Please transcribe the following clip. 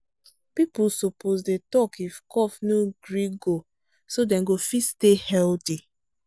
people suppose dey talk if cough no gree go so dem go fit stay healthy